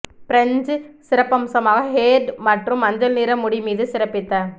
பிரஞ்சு சிறப்பம்சமாக ஹேர்டு மற்றும் மஞ்சள் நிற முடி மீது சிறப்பித்த